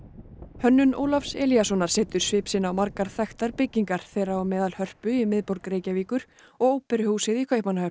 hönnun Ólafs Elíassonar setur svip sinn á margar þekktar byggingar þeirra á meðal Hörpu í miðborg Reykjavíkur og óperuhúsið í Kaupmannahöfn